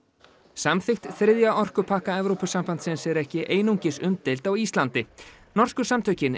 samþykkt þriðja orkupakka Evrópusambandsins er ekki einungis umdeild á Íslandi norsku samtökin